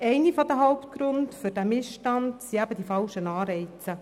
Einer der Hauptgründe für diesen Missstand sind eben die falschen Anreize.